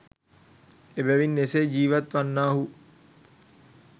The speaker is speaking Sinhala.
එබැවින් එසේ ජීවත් වන්නාහු